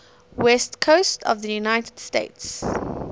west coast of the united states